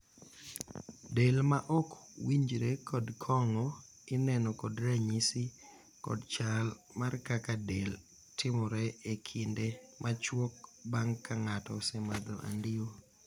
del ma ok winjre kod kong'o ineno kod ranyisi kod chal mar kaka del timore e kinde machuok bang' ka ng'ato osemadho andiwo